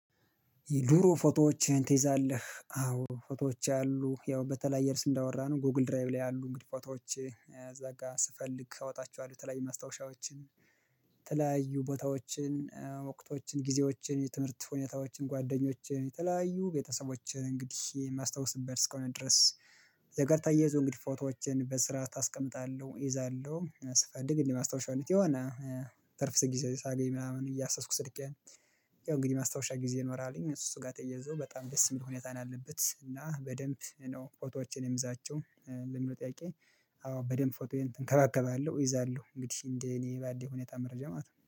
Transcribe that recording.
የድሮ ፎቶዎችህን ትይዛለህ? አዎ ፎቶዎችህ አሉ ያው በተለያየ እርስ እንዳወራን ጎግል ድራይቭ ላይ ያሉ እንግዲህ ቦታዎች እዛ ጋር ስፈልግ አወጣችኋለሁ ተለያይ ማስታወሻዎችን ተለያዩ ቦታዎችን ወቅቶችን ጊዜዎችን የትምህርት ሁኔታዎችን ጓደኞችን የተለያዩ ቤተሰቦችን እንግዲህ የማስታውስበት እስከሆነ ድረስ እዚህ ጋር ተያይዞ እንግዲህ ፎቶዎችን በስርዓት አስቀምጣለሁ እይዛለሁ ስፈልግ ግን የማስታውሻለት የሆነ ትርፍ ስንት ጊዜ ሳገኝ ምናምን እያሰስኩ ስልኬን እንግዲህ ማስታወሻ ጊዜ ይኖራልኝ እሱ ጋር ተያይዞ በጣም ደስ የሚል ሁኔታን አለበት እና በደንብ ነው ፎቶዎችን የምዛቸው ለምን ጠያቂ አዎ በደንብ ፎቶ እንከባከባለሁ እይዛለሁ እንግዲህ እንደ እኔ ባለኝ ሁኔታ መረጃ ማለት ነው